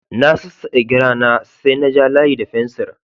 Na sassake gira na, sai na ja layi da fensir.